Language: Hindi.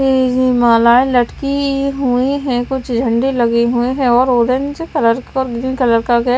ये मालाए लटकी हुए हैं कुछ झंडे लगे हुए हैं और ऑरेंज कलर क और ग्रीन कलर का--